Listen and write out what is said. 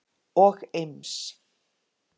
og Eims